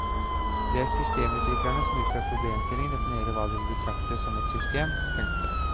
Det er systemutviklerne som ut fra problemstillingen definerer hva de vil betrakte som et system. punktum